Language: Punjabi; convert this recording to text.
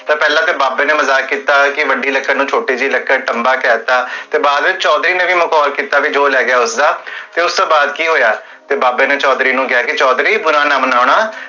ਪੇਹ੍ਲਾਂ ਤਾ ਬਾਬੇ ਨੇ ਮਜ਼ਾਕ ਕੀਤਾ ਕੀ ਵੱਡੀ ਲਕੜ, ਛੋਟੀ ਜਿਹੀ ਲਕੜ, ਟਮ੍ਬਾ ਕਹਤਾ, ਤੇ ਬਾਦ ਵਿਚ ਚੋਧਰੀ ਨੇ ਵੀ ਮਖੋਲ ਕੀਤਾ, ਜੋ ਰਹ ਗਿਆ ਉਸਦਾ ਤੇ ਉਸਤੋ ਬਾਦ ਕੀ ਹੋਇਆ? ਬਾਬੇ ਨੇ ਚੋਧਰੀ ਨੂ ਕੇਹਾ ਕੇ ਚੋਧਰੀ ਬੁਰਾ ਨਾ ਮਨੋ ਨਾ